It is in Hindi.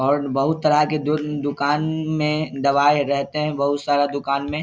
और बहुत तरह के दु दुकान म-में दवाई रहते हैं बहुत सारा दुकान में।